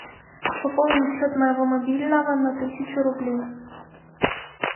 пополнить счет моего мобильного на тысячу рублей